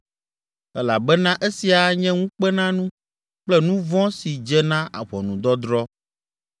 Elabena esia anye ŋukpenanu kple nu vɔ̃ si dze na ʋɔnudɔdrɔ̃.